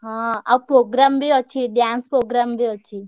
ହଁ ଆଉ program ବି ଅଛି dance program ବି ଅଛି।